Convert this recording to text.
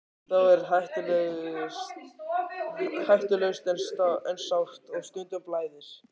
Það er hættulaust en sárt og stundum blæðir.